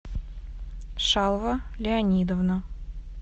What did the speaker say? шалва леонидовна